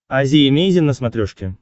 азия эмейзин на смотрешке